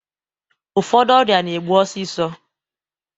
Ụfọdụ ọrịa na-egbu osisọ